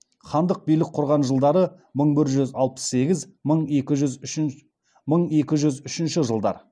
хандық билік құрған жылдары мың бір жүз алпыс сегіз мың екі жүз үшінші жылдар